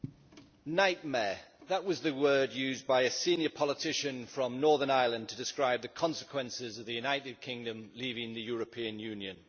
Madam President, nightmare' that was the word used by a senior politician from Northern Ireland to describe the consequences of the United Kingdom leaving the European Union.